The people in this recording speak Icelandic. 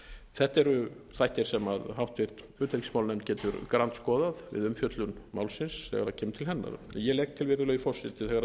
þetta eru þættir sem háttvirtri utanríkismálanefnd getur grandskoðað við umfjöllun málsins þegar það kemur til hennar ég legg til virðulegi forseti að þegar